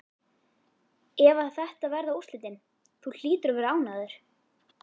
Ef að þetta verða úrslitin, þú hlýtur að vera ánægður?